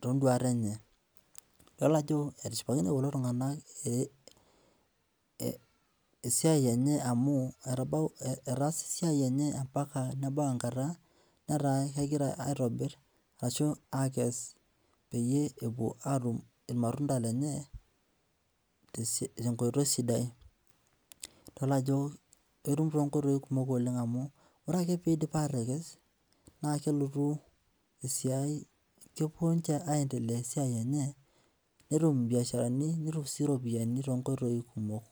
tonduat enyeidol ajo etishipakine kulo tunganak esiai enye amu etaasaa esiai esiai enye mbaka nebau enkata nataa kegira aitobir akes peyie epuo atum irmatunda lenye tenkoitoi sidai idol ajo etum tonkoitoi kumok amu ore ake pekes na kelotu esiai kepuo ninche aendelea esiai enye orbiasharani enye tonkoitoi kumok.